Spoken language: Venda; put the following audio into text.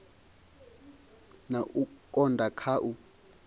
na u konda kha u